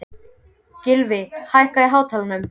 Gylfi, hækkaðu í hátalaranum.